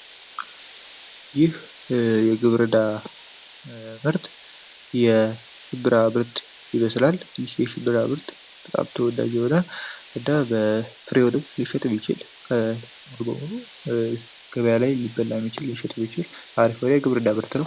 ይህ የግብርና ምርት የሽንብራ ምርት ይመስላል የሽንብራ ምርት በጣም ተወዳጅ የሆነ እና ፍሬውን የሚችል ገበያ ላይ ሊወጣ የሚችል ምርት ነው።